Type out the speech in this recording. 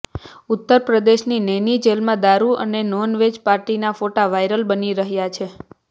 ઉત્તર પ્રદેશની નૈની જેલમાં દારૂ અને નોનવેજ પાર્ટીના ફોટા વાયરલ બની રહ્યા છે